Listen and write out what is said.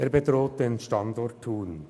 Sie bedroht den Standort Thun.